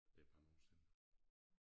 Det mange år siden